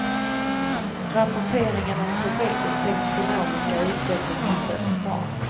Rapporteringen om projektets ekonomiska utveckling har skötts bra.